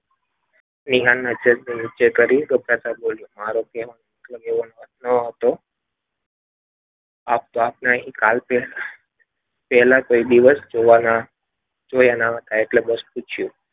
વિહારનો મારો કહેવાનો અર્થ એ ન હતો પહેલા કોઈ દિવસ જોવાના જોયા ન હતા એટલે બસ પૂછ્યું.